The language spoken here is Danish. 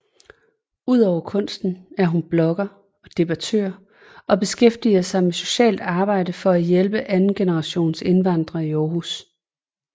Ud over kunsten er hun blogger og debattør og beskæftiger sig med socialt arbejde for at hjælpe andengenerationsindvandrere i Aarhus